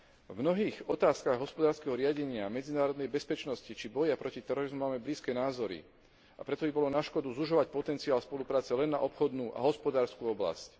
V mnohých otázkach hospodárskeho riadenia medzinárodnej bezpečnosti či boja proti terorizmu máme blízke názory, a preto by bolo na škodu zužovať potenciál spolupráce len na obchodnú a hospodársku oblasť.